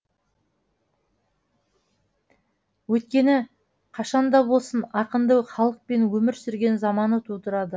өйткені қашан да болсын ақынды халық пен өмір сүрген заманы тудырады